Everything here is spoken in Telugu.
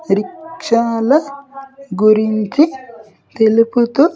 రిక్షాల గురించి తెలుపుతూ.